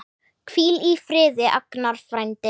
Hvíl í friði, Agnar frændi.